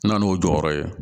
N na n'o jɔyɔrɔ ye